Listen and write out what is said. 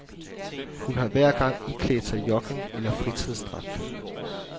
Hun har hver gang iklædt sig jogging- eller fritidsdragt.